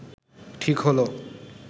ঠিক হলো